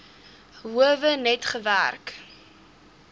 howe net gewerk